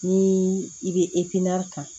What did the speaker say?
Ni i bɛ kan